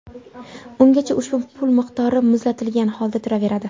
Ungacha ushbu pul miqdori ‘muzlatilgan’ holda turaveradi.